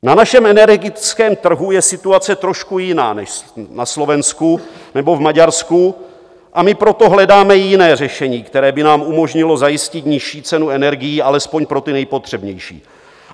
Na našem energetickém trhu je situace trošku jiná než na Slovensku nebo v Maďarsku, a my proto hledáme jiné řešení, které by nám umožnilo zajistit nižší cenu energií alespoň pro ty nejpotřebnější.